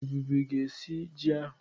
Ebube ga-esi ji ahụ.